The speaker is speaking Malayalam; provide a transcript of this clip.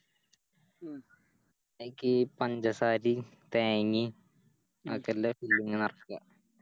അയ്ക്ക് പഞ്ചസാരയും തേങ്ങയും ആക്കെ അയിൻറെ ഉള്ളിങ്ങനെ നെറക്ക